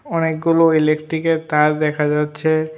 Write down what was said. অনেকগুলো ইলেকট্রিকের তার দেখা যাচ্ছে।